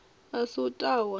a si u ta wa